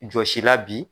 Jɔsi la bi